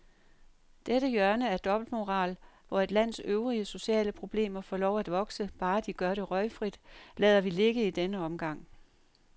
Dette hjørne af dobbeltmoral, hvor et lands øvrige sociale problemer får lov at vokse, bare de gør det røgfrit, lader vi ligge i denne omgang.